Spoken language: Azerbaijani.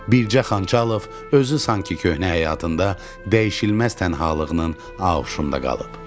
Bircə Xançalov özü sanki köhnə həyatında dəyişilməz tənhalığının auşunda qalıb.